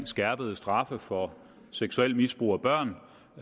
skærpede straffe for seksuelt misbrug af børn